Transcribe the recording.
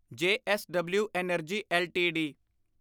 JSW energy LTD